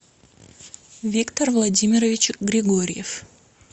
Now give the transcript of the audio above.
виктор владимирович григорьев